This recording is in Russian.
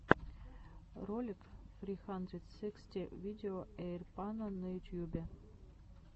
ролик сри хандрэд сыксти видео эйрпано на ютьюбе